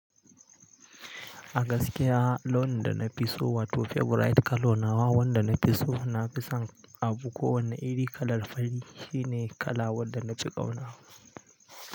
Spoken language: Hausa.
A gaskiya launin da na fi so wato favorite kalo nawa wanda na fi so na fison abu ko wane iri kalar fari shine kala wanda na fi ƙauna.